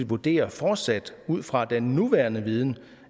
vurderer fortsat ud fra den nuværende viden